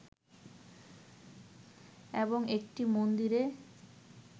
এবং একটি মন্দিরে